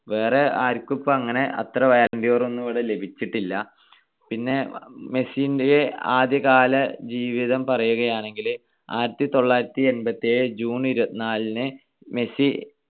വേറെ ആർക്കും ഇപ്പൊ അങ്ങനെ അത്ര balloon D or ഒന്നും ഇവിടെ ലഭിച്ചിട്ടില്ല. പിന്നെ മെസ്സിന്റെ ആദ്യകാല ജീവിതം പറയാണെങ്കിൽ ആയിരത്തിത്തൊള്ളായിരത്തി എൺപത്തിയേഴ് June ഇരുപത്തിനാലിനു മെസ്സി